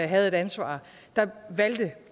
havde et ansvar valgte